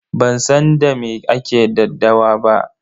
Ban san da me ake daddawa ba.